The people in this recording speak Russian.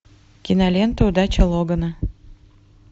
кинолента удача логана